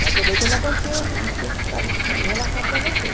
Mas foi daí quando aconteceu isso isso que eu tive que relatar para você.